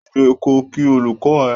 Dìde ko kí olùkọ ẹ!